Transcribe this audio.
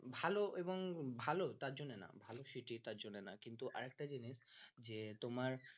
ভালো এবং ভালো তার জন্য না ভালো সেটি তার জন্য না কিন্তু আর একটা জিনিস তোমার